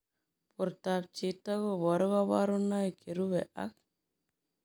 Portoop chitoo kobaruu kabarunaik cherubei ak